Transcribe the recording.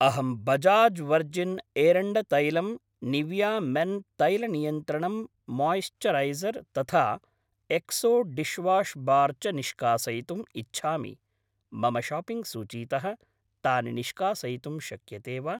अहं बजाज् वर्जिन् एरण्डतैलम्, Nivea men तैलनियन्त्रणम् मोयिस्चरैसर् तथा एक्सो डिश्वाश् बार् च निष्कासयितुम् इच्छामि, मम शाप्पिङ्ग् सूचीतः तानि निष्कासयितुं शक्यते वा?